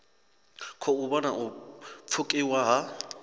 khou vhona u pfukiwa ha